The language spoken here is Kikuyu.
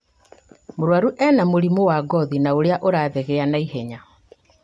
Mũrwaru ena mũrimũ wa ngothi na ũrĩa ũrathegea naihenya